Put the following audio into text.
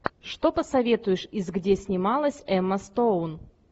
что посоветуешь из где снималась эмма стоун